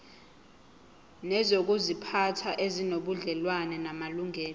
nezokuziphatha ezinobudlelwano namalungelo